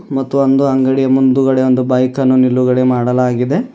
ಮತ್ತು ಒಂದು ಅಂಗಡಿಯ ಮುಂದುಗಡೆ ಒಂದು ಬೈಕ್ ಅನ್ನು ನಿಲುಗಡೆ ಮಾಡಲಾಗಿದೆ.